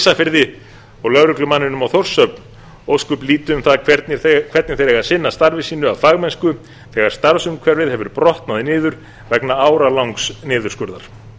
ísafirði og lögreglumanninum á þórshöfn ósköp lítið um það hvernig þeir eiga að sinna starfi sínu af fagmennsku þegar starfsumhverfið hefur brotnað niður vegna áralangs niðurskurðar